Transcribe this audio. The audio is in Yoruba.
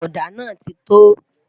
òdà nà tito